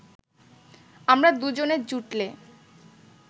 আমরা দুজনে জুটলে